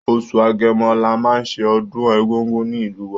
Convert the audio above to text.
Oṣù Agẹmọ la máa ṣe ọdún Egúngún ní ìlú wa.